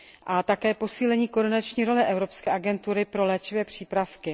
A také posílení koordinační role Evropské agentury pro léčivé přípravky.